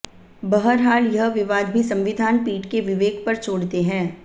बहरहाल यह विवाद भी संविधान पीठ के विवेक पर छोड़ते हैं